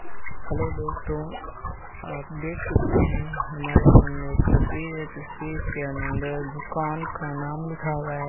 Hello दोस्तों आप देख सकते हैं हमारे सामने एक तस्वीर है तस्वीर के अंदर दुकान का नाम लिखा हुआ है।